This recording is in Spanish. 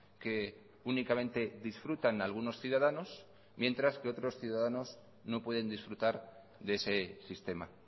que únicamente disfrutan algunos ciudadanos mientras que otros ciudadanos no pueden disfrutar de ese sistema